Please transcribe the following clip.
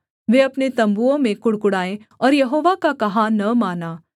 वे अपने तम्बुओं में कुढ़कुढ़ाए और यहोवा का कहा न माना